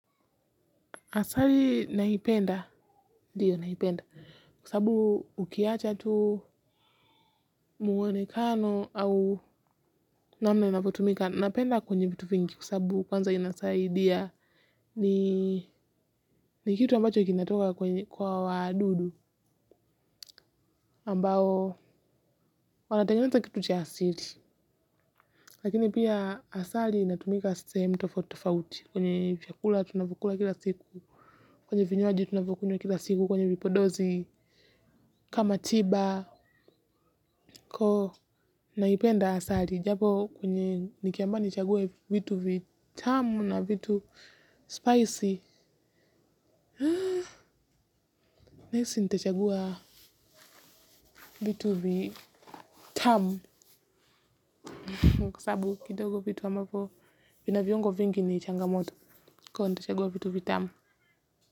Asali naipenda, ndiyo naipenda, kwa sabu ukiacha tu mwonekano au namna inavyotumika, napenda kwenye vitu vingi kwa sababu kwanza inasaidia ni kitu ambacho kinatoka kwa wadudu ambao wanatengenata kitu cha asili. Lakini pia asali inatumika sehemu tofauti tofauti. Kwenye vyakula tunavyokula kila siku. Kwenye vinywaji tunavyokunywa kila siku. Kwenye vipodozi kama tiba. Kwa naipenda asali. Japo kwenye nikiambiwa nichague vitu vitamu na vitu spicy nahisi nitachagua vitu vitamu kwa sababu kidogo vitu ambavyo vina viungo vingi ni changamoto. Kwa hiyo nitachagua vitu vitamu.